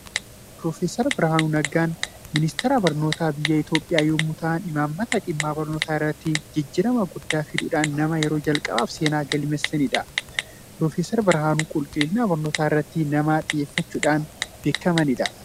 Piroofeesar Birhaanuun Naggaa pireesidaantii Ministeera Barnootaa biyya Itoophiyaa yommuu ta'an, imaammata dhimma barnootaa irratti jijjiirama guddaa fiduudhaan nama yeroo jalqabaaf seenaa galmeessanidha. Piroofeesar birhaanuun qulqullina barnootaa irratti nama xiyyeeffachuudhaan beekamanidha.